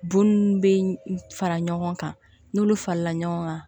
Bon ninnu bɛ fara ɲɔgɔn kan n'olu falenna ɲɔgɔn kan